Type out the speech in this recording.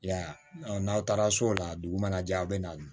I y'a ye n'aw taara so o la dugu mana jɛ a bɛ na